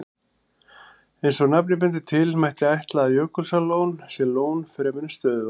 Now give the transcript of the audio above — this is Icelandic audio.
Eins og nafnið bendir til, mætti ætla að Jökulsárlón sé lón fremur en stöðuvatn.